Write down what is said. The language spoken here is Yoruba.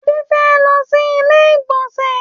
Adé fẹ́ lọ sí ilé ìgbọ̀nsẹ̀.